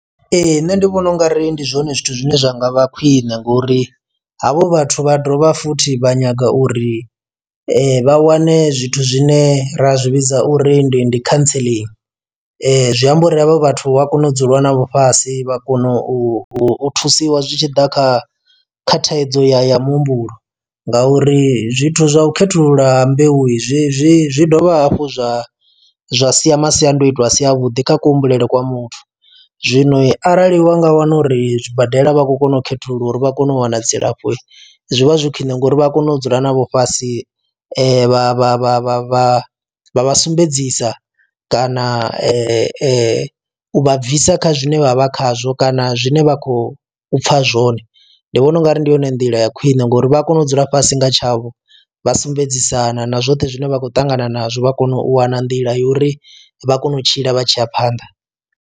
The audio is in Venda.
Ee nṋe ndi vhona ungari ndi zwone zwithu zwine zwa nga vha khwine ngori havho vhathu vha dovha futhi vha nyaga uri vha wane zwithu zwine ra zwi vhidza uri ndi ndi cauncelling zwi amba uri havha vhathu vha kona u dzula na vhafhasi vha kona u thusiwa zwi tshi ḓa kha kha thaidzo ya ya muhumbulo ngauri zwithu zwa u khethulula mbeu i zwi zwi dovha hafhu zwa zwa sia masiandaitwa a si a vhuḓi kha ku humbulele kwa muthu, zwino arali wa nga wana uri zwibadela vha khou kona u khethululiwa uri vha kone u wana dzilafho zwi vha zwi khwine ngori vha a kona u dzula navho fhasi vha vha vha vha vha vha vha sumbedzisa kana u vha bvisa kha zwine vha vha khazwo kana zwine vha khou pfa zwone. Ndi vhona ungari ndi yone nḓila ya khwine ngori vha a kona u dzula fhasi nga tshavho vha sumbedzisana na zwoṱhe zwine vha khou ṱangana nazwo vha kone u wana nḓila yo uri vha kone u tshila vha tshi ya phanḓa.